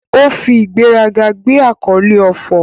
O fi igberaga gbe akole Ofor